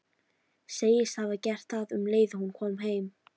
Segist hafa gert það um leið og hún kom heim.